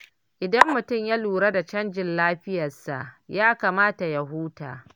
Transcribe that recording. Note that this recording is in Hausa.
Idan mutum ya lura da canjin lafiyarsa, ya kamata ya huta.